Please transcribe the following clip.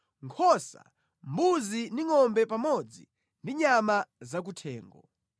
nkhosa, mbuzi ndi ngʼombe pamodzi ndi nyama zakuthengo,